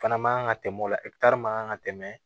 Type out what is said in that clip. Fana man kan ka tɛmɛ o la man kan ka tɛmɛ